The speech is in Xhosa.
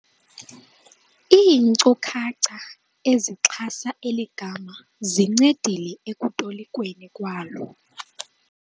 Iinkcukacha ezixhasa eli gama zincedile ekutolikweni kwalo.